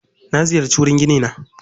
Na ziyarci wurin ginina.